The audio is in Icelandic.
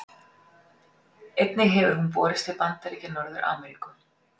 Einnig hefur hún borist til Bandaríkja Norður-Ameríku.